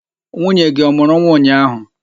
Nwunye gị ọ mụrụ nwa ụnyaahụ?